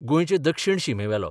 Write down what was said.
गोंयचे दक्षीण शिमेवेलो.